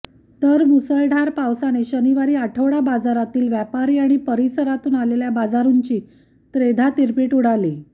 तर मुसळधार पावसाने शनिवार आठवडा बाजारातील व्यापारी आणि परीसरातून आलेल्या बाजारूंची त्रेधा तिरपिट उडाली